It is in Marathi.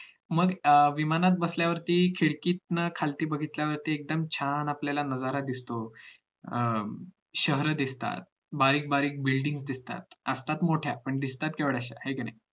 मग विमानात बसल्यावरती खिडकीतून खालती बघितल्यावर एकदम छान आपल्याला नजारा दिसतो अं शहरं दिसतात बारीक बारीक building दिसतात असतात मोठ्या पण दिसतात येवढयाश्या